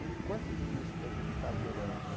E o quanto de lixo que a gente está gerando, né?